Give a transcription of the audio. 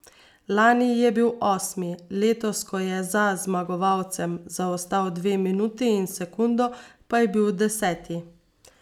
Lani je bil osmi, letos, ko je za zmagovalcem zaostal dve minuti in sekundo, pa je bil deseti.